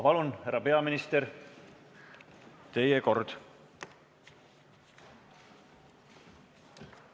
Palun, härra peaminister, teie kord!